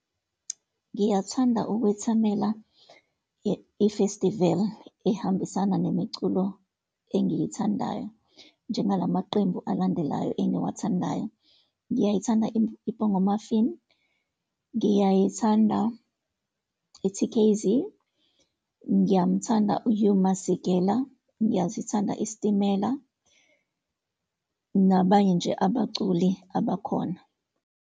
Ngiyathanda ukwethamela i-festival ehambisana nemiculo engiyithandayo, njengalamaqembu alandelayo engiwathandayo. Ngiyayithanda i-Bongo Maffin, ngiyayithanda i-T_K_Z, ngiyamthanda u-Hugh Masikela, ngiyasithanda i-Stimela, nabanye nje abaculi abakhona.